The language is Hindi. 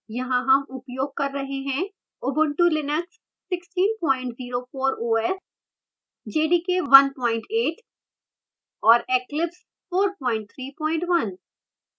यहाँ हम उपयोग कर रहे हैं ubuntu linux 1604 os jdk 18 और eclipse 431